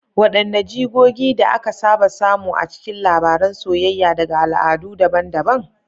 Wadanne jigogi da aka saba samu a cikin labaran soyayya daga al'adu daban-daban?